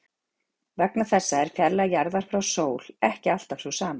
Vegna þessa er fjarlægð jarðar frá sól ekki alltaf sú sama.